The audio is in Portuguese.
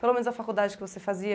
Pelo menos a faculdade que você fazia?